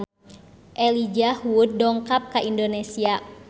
Elijah Wood dongkap ka Indonesia